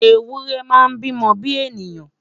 ewúrẹ máa n bi mó bi èèyàn